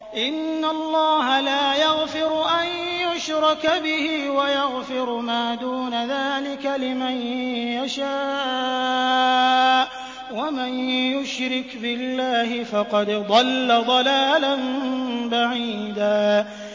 إِنَّ اللَّهَ لَا يَغْفِرُ أَن يُشْرَكَ بِهِ وَيَغْفِرُ مَا دُونَ ذَٰلِكَ لِمَن يَشَاءُ ۚ وَمَن يُشْرِكْ بِاللَّهِ فَقَدْ ضَلَّ ضَلَالًا بَعِيدًا